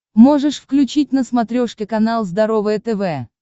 можешь включить на смотрешке канал здоровое тв